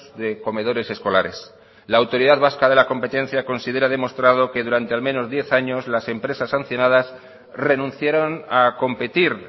de comedores escolares la autoridad vasca de la competencia considera demostrado que durante al menos diez años las empresas sancionadas renunciaron a competir